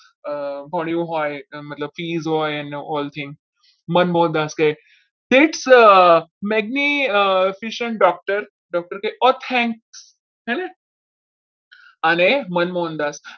ભણ્યો હોય એને ફ્રીજ હોય ને મતલબ ઓલ ઠીક મનદાસ કહે શેઠ magnificent doctor અને મનમોહનદાસ મેં સાંભળ્યું છે કે doctor